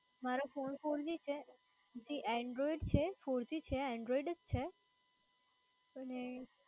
મારો phone four g જે android છે.